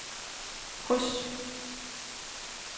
kryds